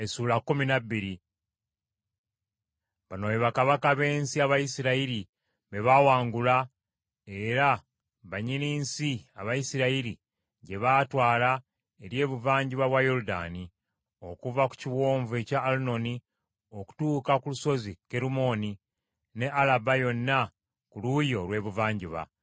Bano be bakabaka b’ensi Abayisirayiri be baawangula era bannyini nsi Abayisirayiri gye baatwala eri ebuvanjuba bwa Yoludaani, okuva ku kiwonvu ekya Alunoni okutuuka ku lusozi Kerumooni, ne Alaba yonna ku luuyi olw’ebuvanjuba.